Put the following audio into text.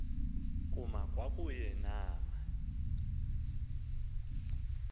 kuma kwakunye nama